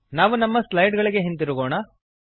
ನಾವು ನಮ್ಮ ಸ್ಲೈಡ್ ಗಳಿಗೆ ಹಿಂದಿರುಗೋಣ